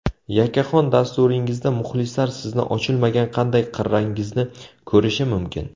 Yakkaxon dasturingizda muxlislar sizni ochilmagan qanday qirrangizni ko‘rishi mumkin?